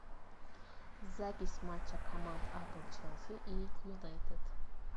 запись матча команд апл челси и юнайтед